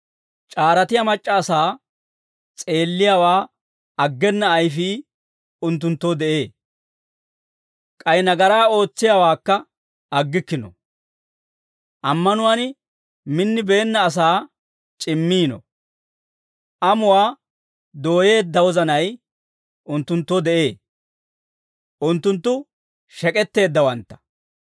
C'aaratiyaa mac'c'a asaa s'eelliyaawaa aggena ayfii unttunttoo de'ee; k'ay nagaraa ootsiyaawaakka aggikkino. Ammanuwaan minnibeenna asaa c'immiino. Amuwaa dooyeedda wozanay unttunttoo de'ee; unttunttu shek'etteeddawantta.